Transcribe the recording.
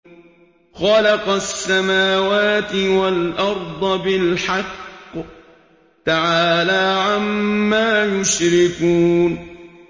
خَلَقَ السَّمَاوَاتِ وَالْأَرْضَ بِالْحَقِّ ۚ تَعَالَىٰ عَمَّا يُشْرِكُونَ